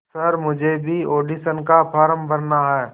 sir मुझे भी audition का फॉर्म भरना है